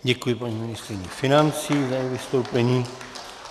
Děkuji paní ministryni financí za její vystoupení.